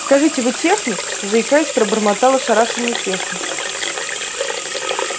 скажите вы техник заикаясь пробормотал ошарашенный техник